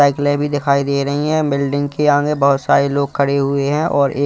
साइकलें भी दिखाई दे रही है बिल्डिंग के आगे बहुत सारे लोग खड़े हुए हैं और एक--